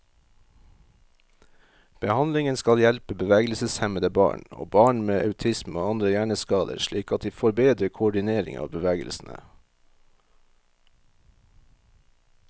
Behandlingen skal hjelpe bevegelseshemmede barn, og barn med autisme og andre hjerneskader slik at de får bedre koordinering av bevegelsene.